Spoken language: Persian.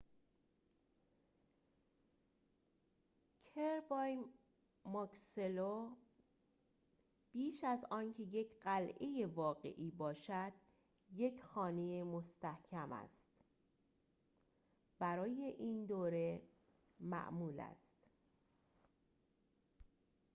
برای این دوره معمول است قلعه kirby muxloe بیش از آنکه یک قلعه واقعی باشد یک خانه مستحکم است